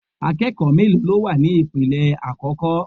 Akẹ́kọ̀ọ́ mélòó ló wà ní ipele àkọ́kọ́?